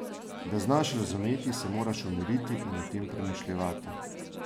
Da znaš razumeti, se moraš umiriti in o tem premišljevati.